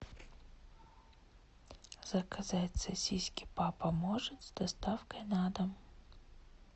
заказать сосиски папа может с доставкой на дом